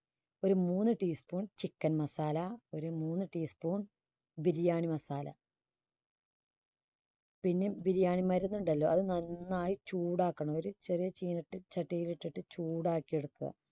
ഒരു മൂന്ന് tea spoon chicken masala ഒരു മൂന്നു tea spoon biriyani masala പിന്നെ biriyani മരുന്നുണ്ടല്ലോ അത് നന്നായി ചൂടാക്കണം ഒരു ചെറിയ ചീനച്ചട്ടിയിൽ വച്ചിട്ട് ചൂടാക്കി എടുക്കുക.